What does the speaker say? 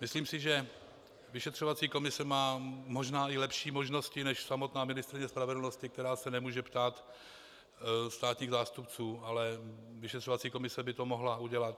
Myslím si, že vyšetřovací komise má možná i lepší možnosti než samotná ministryně spravedlnosti, která se nemůže ptát státních zástupců, ale vyšetřovací komise by to mohla udělat.